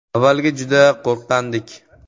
“Avvaliga juda qo‘rqqandik.